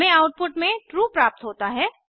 हमें आउटपुट में ट्रू प्राप्त होता है